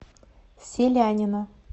селянина